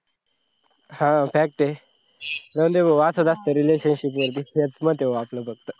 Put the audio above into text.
हा fact ये. जाऊदे भो असाच असता relationship मध्ये हेच मत हे भो आपला फक्त